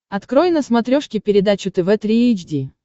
открой на смотрешке передачу тв три эйч ди